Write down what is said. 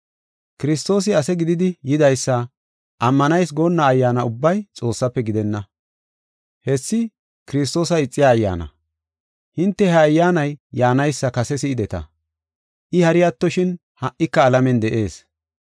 Kiristoosi ase gididi yidaysa ammanayis goonna ayyaana ubbay Xoossaafe gidenna. Hessi Kiristoosa ixiya ayyaana. Hinte he ayyaanay yaanaysa kase si7ideta; I hari attoshin ha77ika alamen de7ees.